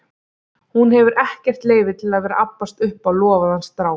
Hún hefur ekkert leyfi til að vera að abbast upp á lofaðan strák.